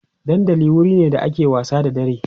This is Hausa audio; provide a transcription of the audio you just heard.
dandali wurine da ake wasa da dare